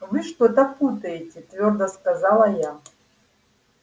вы что-то путаете твёрдо сказала я